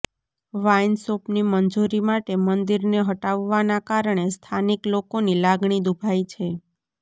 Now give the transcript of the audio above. વાઈનશોપની મંજુરી માટે મંદિરને હટાવવાના કારણે સ્થાનિક લોકોની લાગણી દુભાઈ છે